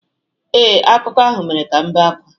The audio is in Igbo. Ee, akụkọ ahụ mere ka m bee ákwá